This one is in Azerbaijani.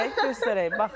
Göstərək, göstərək.